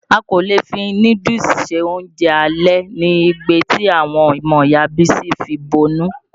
A kò lè fi núdúùsù ṣe oúnjẹ alẹ̀ ni igbe ti àwọn ọmọ Ìya Bísí fi bọnu.